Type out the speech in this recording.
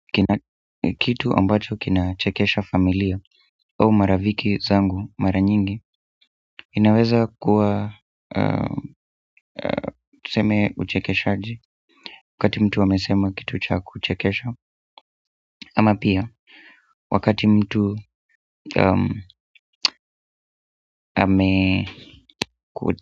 Kitu ambacho kinachekesha familia au marafiki zangu mara nyingi inaweza kuwa tuseme uchekeshaji wakati mtu amesema kitu cha kuchekesha ama pia wakati mtu ameku.